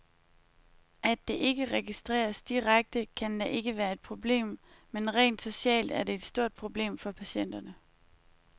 At det ikke registreres direkte, kan da ikke være et problem, men rent socialt er det et stort problem for patienterne.